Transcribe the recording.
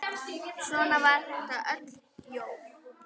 Svona var þetta öll jól.